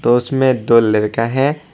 और उसमें दो लड़का है।